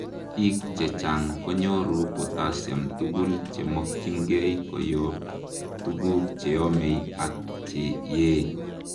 biik chechang konyoru potassium tugul komokyingei koyob tuguk cheomei ak cheyee